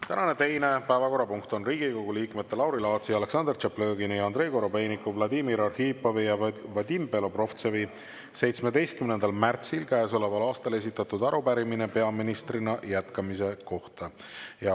Tänane teine päevakorrapunkt on Riigikogu liikmete Lauri Laatsi, Aleksandr Tšaplõgini, Andrei Korobeiniku, Vladimir Arhipovi ja Vadim Belobrovtsevi 17. märtsil käesoleval aastal esitatud arupärimine peaministrina jätkamise kohta.